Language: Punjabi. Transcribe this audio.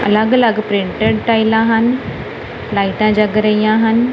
ਅਲੱਗ ਅਲੱਗ ਪ੍ਰਿੰਟਡ ਟਾਈਲਾਂ ਹਨ ਲਾਈਟਾਂ ਜਗ ਰਹੀਆਂ ਹਨ।